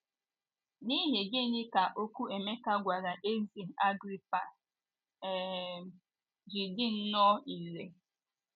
N’ihi gịnị ka okwu Emeka gwara ezé Agrịpa um ji dị nnọọ irè?